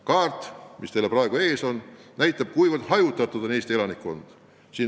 Kaart, mis teil praegu ees on, näitab, kui hajutatud on Eesti elanikkond.